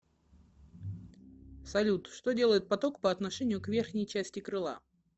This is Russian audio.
салют что делает поток по отношению к верхней части крыла